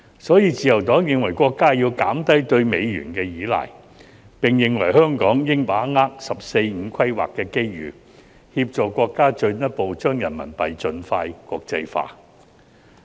所以，自由黨認為國家要減低對美元的依賴，並認為香港應把握"十四五"規劃的機遇，協助國家進一步將人民幣盡快國際化。